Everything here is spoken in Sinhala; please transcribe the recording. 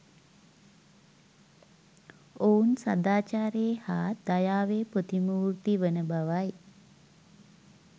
ඔවුන් සදාචාරයේ හා දයාවේ ප්‍රතිමූර්ති වන බවයි.